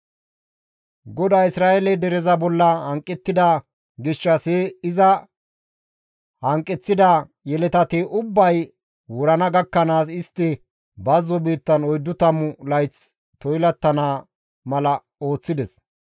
GODAY Isra7eele dereza bolla hanqettida gishshas he iza hanqeththida yeletati ubbay wurana gakkanaas istti bazzo biittan oyddu tammu layth toylattana mala ooththides.